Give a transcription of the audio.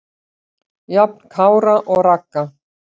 Jafn Kára og Ragga.